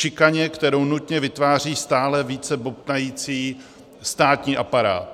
Šikaně, kterou nutně vytváří stále více bobtnající státní aparát.